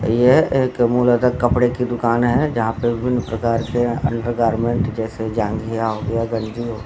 यह एक कपड़े की दुकान है जहां पे विभिन्न प्रकार के अंडरगारमेंट जैसे जाँघिया हो गया गंजी हो --